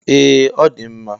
Ee ọdi mma.